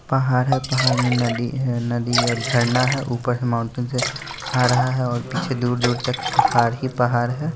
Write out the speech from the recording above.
पहाड़ है पहाड़ में नदी है नदी और झड़ना है ऊपर से माउंटेन से आ रहा है और पीछे दूर-दूर तक पहाड़ ही पहाड़ है।